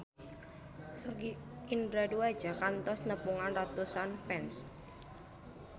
Sogi Indra Duaja kantos nepungan ratusan fans